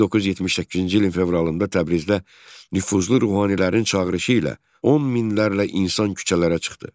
1978-ci ilin fevralında Təbrizdə nüfuzlu ruhanilərin çağırışı ilə 10 minlərlə insan küçələrə çıxdı.